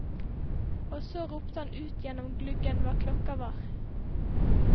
Og så ropte han ut gjennom gluggen hva klokka var.